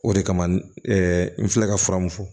O de kama n filɛ ka fura mun fɔ